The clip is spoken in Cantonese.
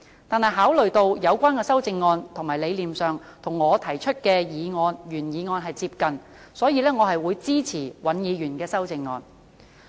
然而，考慮到有關的修正案在理念上與我提出的原議案接近，所以我會支持尹議員的修正案。